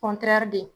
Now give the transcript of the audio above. de